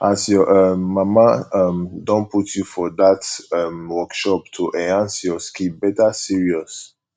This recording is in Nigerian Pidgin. as your um mama um don put you for dat um workshop to enhance your skill better serious